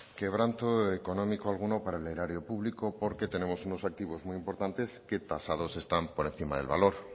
quebranto económico alguno para el erario público porque tenemos unos activos muy importantes que tasados están por encima del valor